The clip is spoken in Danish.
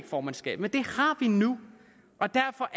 formandskab men det har vi nu og derfor